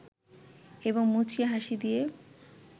এবং মুচকি হাসি দিয়ে